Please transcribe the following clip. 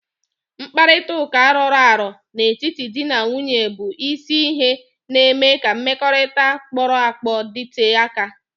Mkparịta ụka roro aro n'etiti di na nwunye bụ isi ihe na-eme ka mmekọrịta kporo akpo dite aka.